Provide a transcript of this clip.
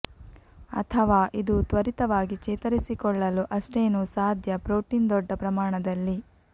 ಅಥವಾ ಇದು ತ್ವರಿತವಾಗಿ ಚೇತರಿಸಿಕೊಳ್ಳಲು ಅಷ್ಟೇನೂ ಸಾಧ್ಯ ಪ್ರೋಟೀನ್ ದೊಡ್ಡ ಪ್ರಮಾಣದಲ್ಲಿ